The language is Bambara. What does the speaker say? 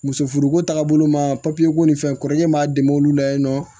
Muso furuko tagabolo ma ko nin fɛn kɔrɔkɛ m'a dɛmɛ olu la yen nɔ